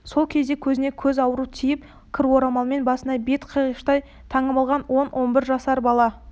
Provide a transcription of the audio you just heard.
сол кезде көзіне көз ауру тиіп кір орамалмен басы бетін қиғаштай таңып алған он он бір жасар бала